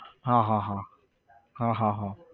હા હા હા હા હા હા